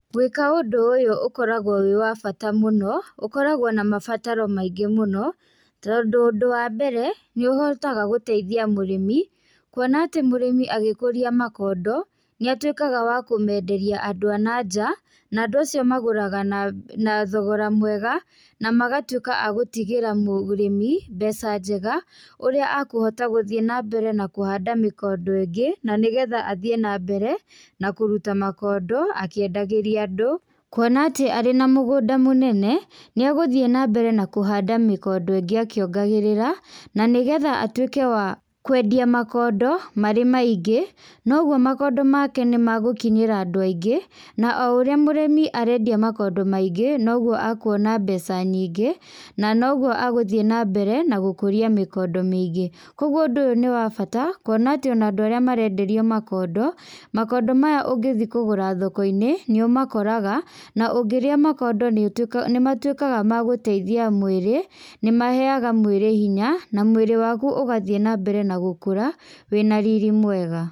Gwĩka ũndũ ũyũ ũkoragwo wĩ wa bata mũno, ũkoragwo na mabataro maingĩ mũno, tondũ ũndũ wa mbere, nĩũhotaga gũteithia mũrĩmi, kuona atĩ mũrĩmi agĩkũria makondo, nĩatwĩkaga wa kũmenderia andũ a na njaa, na andũ acio magũraga na, na thogora mwega, namagatwĩka agũtigĩra mũgũ mũrĩmi, mbeca njega, ũrĩa akũhota gũthiĩ nambere na kũhanda mĩkondo ĩngĩ, nanĩgetha athiĩ nambere, nakũruta makondo, akĩendagĩria andũ, kuona atĩ arĩ na mũgũnda mũnene, nĩagũthiĩ nambere na kũhanda mĩkondo ĩngĩ akĩongagĩrĩra, nanĩgetha atwĩke wa, kũendia makondo, marĩ maingĩ, noguo makondo make nĩmagũkinyĩra andũ aingĩ, na oũrĩa mũrĩmi arendia makondo maingĩ, noguo akuona mbeca nyingĩ, nanoguo agũthiĩ nambere na gũkũria mĩkondo mĩngĩ, koguo ũndũ ũyũ nĩwabata kuona atĩ ona andũ arĩa marenderio makondo, makondo maya ũngĩthi kũgũra thoko-inĩ, nĩũmakoraga, na ũngĩrĩa maondo nĩũtwĩ nĩmatwĩkaga magũteithia mwĩrĩ, nĩmaheaga mwĩrĩ hinya, na mwĩ'ri waku ũgathi nambere nagũkũra, wĩna riri mwega.